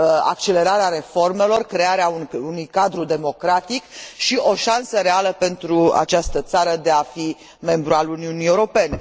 accelerarea reformelor, crearea unui cadru democratic și o șansă reală pentru această țară de a fi membru al Uniunii Europene.